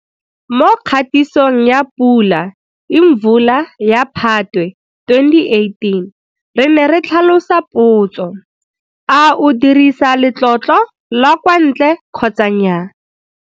Mo kgatisong ya Pula Imvula ya Phatwe 2018 re ne re tlhalosa potso, A o dirisa letlotlo la kwa ntle kgotsa nnaya.